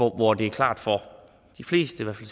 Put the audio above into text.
hvor det er klart for de fleste i